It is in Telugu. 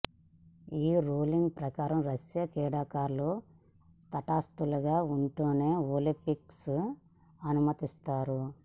ఈ రూలింగ్ ప్రకారం రష్యా క్రీడాకారులు తటస్థులుగా ఉంటేనే ఒలింపిక్స్కు అనుమతిస్తారు